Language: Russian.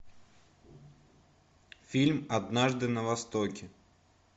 фильм однажды на востоке